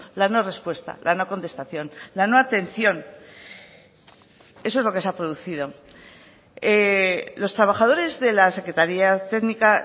la no respuesta la no contestación la no atención eso es lo que se ha producido los trabajadores de la secretaría técnica